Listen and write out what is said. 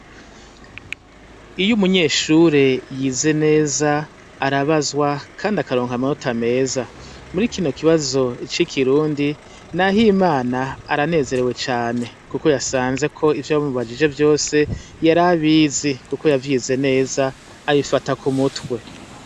Iyo umunyeshure yize neza arabazwa kandi akaronka amanota meza, murikino kibazo c'ikirundi nahimana aranezerewe cane kuko yasanzeko ivyo bamubajije vyose yarabizi kuko yavyize neza abifata kumutwe.